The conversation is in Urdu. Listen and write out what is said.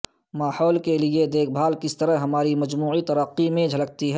ماحول کے لئے دیکھ بھال کس طرح ہماری مجموعی ترقی میں بھی جھلکتی ہے